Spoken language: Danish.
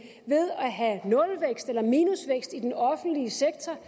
have nulvækst eller minusvækst i den offentlige sektor